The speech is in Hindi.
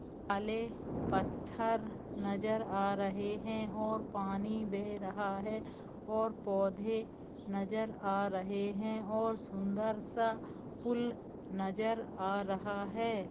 काले पत्थर नजर आ रहे हैं और पानी बह रहा है और पौधे नजर आ रहे हैं और सुंदर सा पूल नजर आ रहा है।